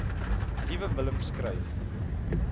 liewe willem skryf